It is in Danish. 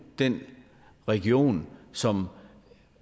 den region som